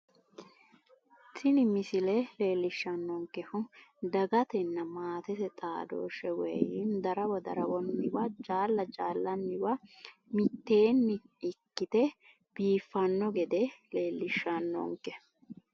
tini misile leellishshannonkehu dagatenna maatete xaadooshshe woynim darawo darawonniwa jaalla jaallanniwa mitteenni ikkite biiffanno gede leellishshannonke